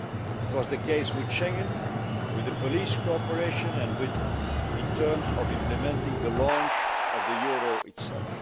It was the case with Schengen, with police cooperation and in terms of implementing the launch of the euro itself.